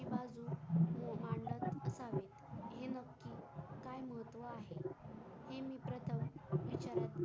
मांडत असतात हे मजकूर त्या मध्ये आहे हे मित्र तर